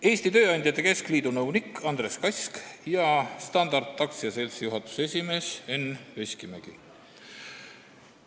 Eesti Tööandjate Keskliidu nõunik Andres Kask ja Standard AS-i juhatuse esimees Enn Veskimägi.